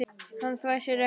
Hann þvær sér ekki.